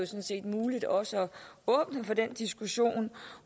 set muligt også at åbne for den diskussion